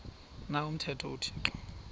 na umthetho uthixo